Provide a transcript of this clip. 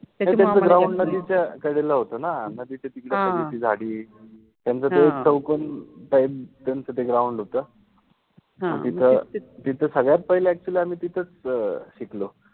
त्यांच्या ground {ground} ला तिच्या काय झाल होत न मग तिथ ते झाडि, त्यांच ते चौकोन टाइप {type} ग्राउंड {ground} होत, ह तिथ तिथे सगळ्यात पहिले अक्चुअलि {actually} आम्हि तिथच शिकलो